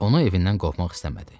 Onu evindən qopmaq istəmədi.